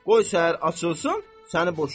Qoy səhər açılsın, səni boşayıram.